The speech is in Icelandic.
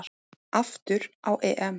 Aftur á EM.